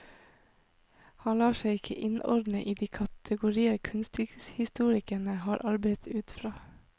Han lar seg ikke innordne i de kategorier kunsthistorikerne har arbeidet ut fra.